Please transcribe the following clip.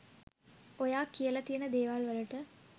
ඔයා කියලා තියෙන දේවල්වලට